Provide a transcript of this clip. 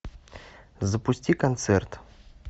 запусти концерт